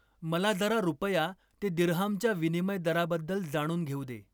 मला जरा रुपया ते दिर्हामच्या विनिमय दराबद्दल जाणून घेऊ दे.